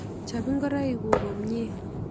Chop ngoroik kuk komnyie.